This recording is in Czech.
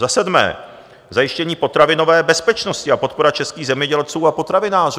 Za sedmé - zajištění potravinové bezpečnosti a podpora českých zemědělců a potravinářů.